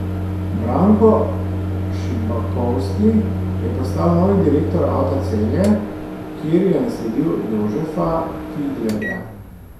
Branko Šibakovski je postal novi direktor Avta Celje, kjer je nasledil Jožefa Fidlerja.